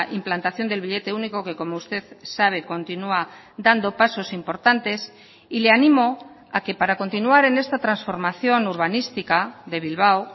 implantación del billete único que como usted sabe continúa dando pasos importantes y le animo a que para continuar en esta transformación urbanística de bilbao